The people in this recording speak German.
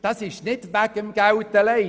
Und dies nicht wegen dem Geld allein.